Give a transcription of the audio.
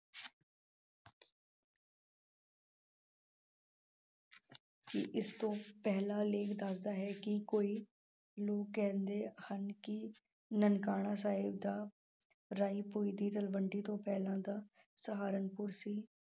ਕਿ ਇਸਤੋਂ ਪਹਿਲਾਂ ਲੇਖਕ ਦੱਸਦਾ ਹੈ ਕਿ ਕੋਈ ਨੂੰ ਕਹਿੰਦੇ ਹਨ ਕਿ ਨਨਕਾਣਾ ਸਾਹਿਬ ਦਾ ਰਾਇ ਭੋਇ ਦੀ ਤਲਵੰਡੀ ਤੋਂ ਪਹਿਲਾਂ ਦਾ ਸਹਾਰਨਪੁਰ ਸੀ।